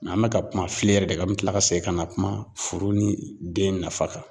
Mɛ an bɛ ka kuma filen yɛrɛ de kan, mɛ an bɛ tila ka segin ka na kuma foro ni den nafa kan.